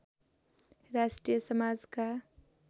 राष्ट्रिय समाजका